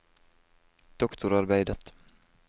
doktorarbeidet